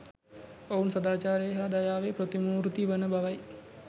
ඔවුන් සදාචාරයේ හා දයාවේ ප්‍රතිමූර්ති වන බවයි.